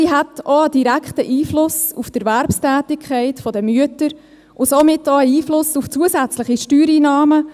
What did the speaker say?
Sie hätte auch einen direkten Einfluss auf die Erwerbstätigkeit der Mütter und somit auch einen Einfluss auf zusätzliche Steuereinnahmen.